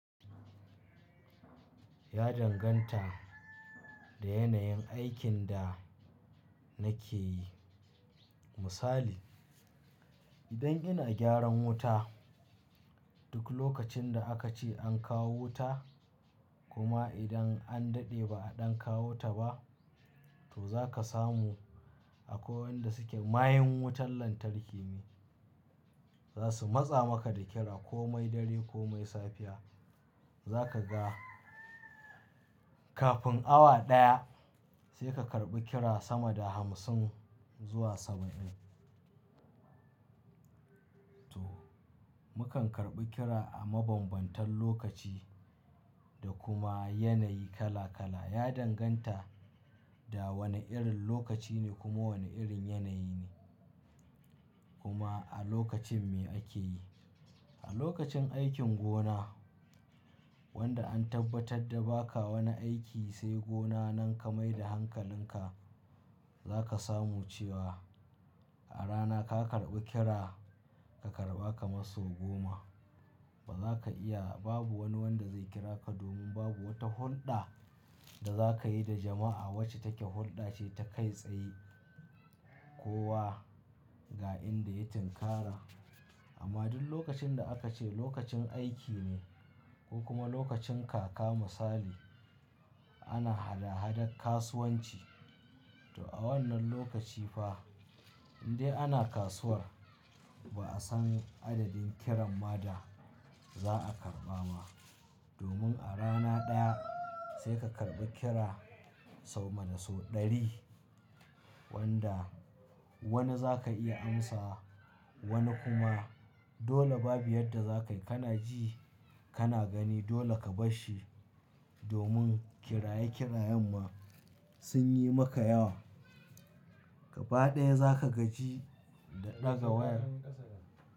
Ya danganta da yanayin aikin da nake yi. Misali, idan ina gyaran wuta duk lokacin da aka ce an kawo wuta kuma idan an daɗe ba a ɗan kawo ta ba, to za ka samu akwai wanda suke mayun wutar lantarki ne. Za su matsa maka da kira ko mai dare ko mai safiya. Za ka ga kafin awa ɗaya sai ka karɓi kira sama da hamsin zuwa saba'in. To, mukan karɓi kira a mabambantan lokaci da kuma yanayi kala kala. Ya danganta da wane irin lokaci ne kuma wane irin yanayi ne kuma a lokacin me ake yi. A lokacin aikin gona wanda an tabbatar da baka wani aiki sai gona nan ka maida hankalinka, za ka samu cewa a rana ka karɓi kira ka karɓa kamar sau goma ba za ka iya, babu wani wanda zai kira ka domin babu wata hulɗa da za ka yi da jama'a wacce take hulɗa ce ta kai tsaye kowa ga inda ya tinkara. Amma duk lokacin da aka ce lokacin aiki ne ko kuma lokacin kaka misali ana hada-hadar kasuwanci, to a wannan lokaci fa in dai ana kasuwar ba'a san adadin kiran ma da za a karɓa ma. Domin a rana ɗaya sai ka karɓi kira sau sama da sau ɗari wanda wani za ka iya amsa wani kuma dole babu yadda za ka yi kana ji kana gani dole ka bar shi domin kiraye-kirayen ma sun yi maka yawa. Kaba ɗaya za ka gaji da ɗaga wayar.